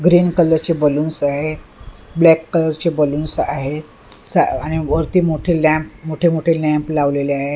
Green colour चे balloons आहेत black colour चे बलून्स आहेत आणि वरती मोठे लॅम्प मोठे मोठे लॅम्प लावलेले आहेत.